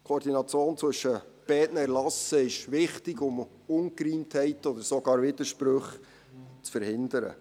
Die Koordination zwischen beiden Erlassen ist wichtig, um Ungereimtheiten oder sogar Widersprüche zu verhindern.